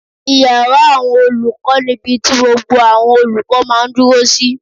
Ìyàrá àwọn olùkọ́ ni ibi ti gbogbo àwọn olùkọ́ máa dúró sí